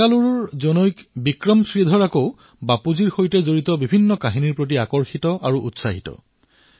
বেংগালুৰু নিবাসী বিক্ৰম শ্ৰীধৰে বাপুৰ সৈতে জড়িত কাহিনীসমূহক লৈ অতি উৎসাহিত